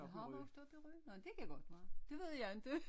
Jeg har vokset op i Rø nåh det kan godt være det ved jeg ikke